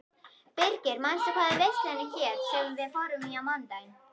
Birgir, manstu hvað verslunin hét sem við fórum í á mánudaginn?